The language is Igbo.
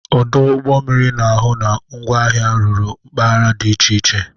Ọdụ ụgbọ mmiri na-ahụ na ngwaahịa ruru mpaghara dị iche iche.